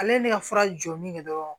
Ale ye ne ka fura jɔli kɛ dɔrɔn